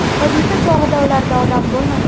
Hodisa chog‘ida ularda odam bo‘lmagan.